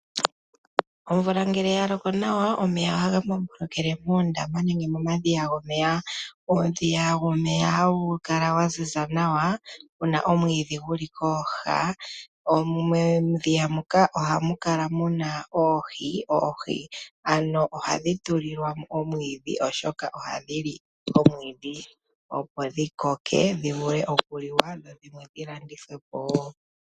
Omvula ngele yaloko nawa omeya ohaga kungulukile moondama nenge mo madhiya gomeya .Uudhiya womeya ha wu kala wa ziza nawa pu na omwiidhi guli kooha ,muudhiya muka ohamu kala muna oohi. Oohi ohadhi tulilwamo omwiidhi oshoka ohadhili omwiidhi opo dhi koke dhivule okuliwa dho dhimwe dhi landitwepo.